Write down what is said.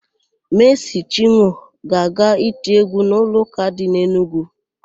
Meesị Chinwọ ga-aga iti égwú n'ụlọụ́kà dị n'Enugwu.